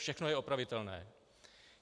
Všechno je opravitelné.